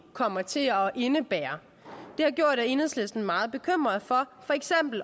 kommer til at indebære har gjort at enhedslisten er meget bekymret for